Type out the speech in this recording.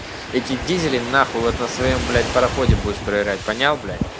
эти дизели нахуй вот на своём блять пароходе будешь проверять понял блять